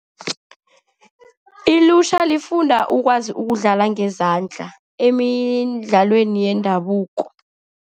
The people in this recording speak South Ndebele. Ilutjha lifunda ukwazi ukudlala ngezandla emidlalweni yendabuko.